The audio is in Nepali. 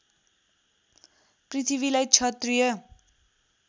पृथ्वीलाई क्षत्रिय